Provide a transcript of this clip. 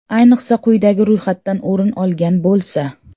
Ayniqsa, quyidagi ro‘yxatdan o‘rin olgan bo‘lsa.